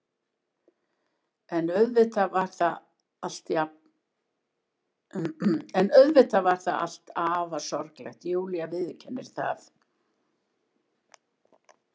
En auðvitað var það allt afar sorglegt, Júlía viðurkennir það.